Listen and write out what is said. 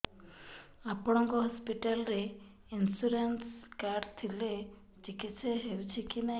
ଆପଣଙ୍କ ହସ୍ପିଟାଲ ରେ insurance card ଥିଲେ ଚିକିତ୍ସା ହେଉଛି କି ନାଇଁ